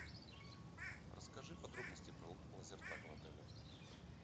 расскажи подробности про лазертаг в отеле